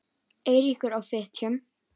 Eiríkur á Fitjum.